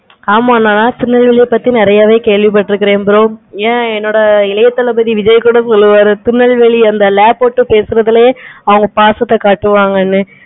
ஆமா நா திருநெல்வேலி பத்தி நெறையாவே கேள்வி பட்டுருக்கான் bro ஏன் என்னோட இல்லையா தளபதி விஜய் கூட சொல்லுவாரு திருநெல்வேலி அந்த ல போட்டு பேசுறதுலே அவங்க பாசத்தை காட்டுவாங்க.